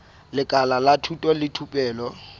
lekala la thuto le thupelo